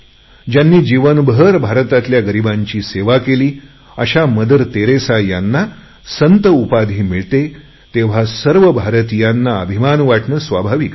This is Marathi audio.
ज्यांनी आयुष्यभर भारतातल्या गरीबांची सेवा केली अशा मदर तेरेसा यांना संत उपाधी मिळते तेव्हा सर्व भारतीयांना अभिमान वाटणे स्वाभाविक आहे